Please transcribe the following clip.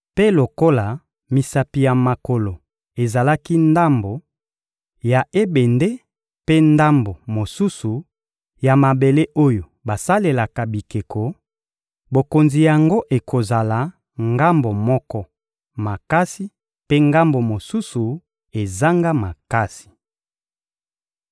Mpe lokola misapi ya makolo ezalaki ndambo, ya ebende, mpe ndambo mosusu, ya mabele oyo basalelaka bikeko, bokonzi yango ekozala, ngambo moko, makasi, mpe ngambo mosusu, ezanga makasi.